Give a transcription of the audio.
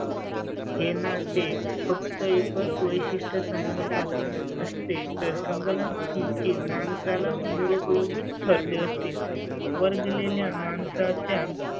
हे नाते फक्त एकच वैशिष्ट्य संगणकात असते तर संगणक ही चीज माणसा ला निरुपयोगी ठरली असती. वर दिलेल्या माणसा च्या.